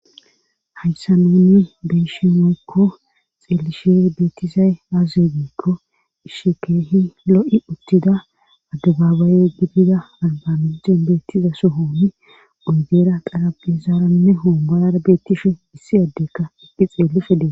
Hayssa nuuni beyshinekko xeelishe beettizay aazebekko ishikeehi lo'i uttida addabaabaye gidida albamicen beettiza sohooni oydeera qarabizaaranne hoommorara beettishe issi addekka eqqi xeellifedee.